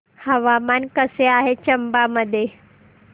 हवामान कसे आहे चंबा मध्ये